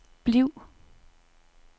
bliv